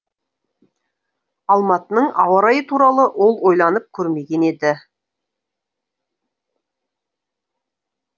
алматының ауа райы туралы ол ойланып көрмеген еді